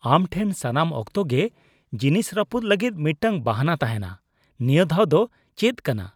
ᱟᱢ ᱴᱷᱮᱱ ᱥᱟᱱᱟᱢ ᱚᱠᱛᱚ ᱜᱮ ᱡᱤᱱᱤᱥ ᱨᱟᱹᱯᱩᱫ ᱞᱟᱹᱜᱤᱫ ᱢᱤᱫᱴᱟᱝ ᱵᱟᱦᱟᱱᱟ ᱛᱟᱦᱮᱱᱟ ᱾ ᱱᱤᱭᱟᱹ ᱫᱷᱟᱣ ᱫᱚ ᱪᱮᱫ ᱠᱟᱱᱟ ?